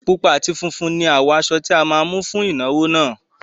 Pupa àti funfun ni àwọ̀ aṣọ tí a máa mú fún ìnáwó náà